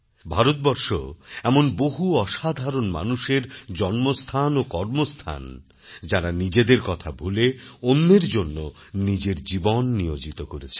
ভারতবর্ষ এমন বহু অসাধারণ মানুষের জন্মস্থানও কর্মস্থান যাঁরা নিজেদের কথা ভুলে অন্যের জন্য নিজের জীবন নিয়োজিত করেছেন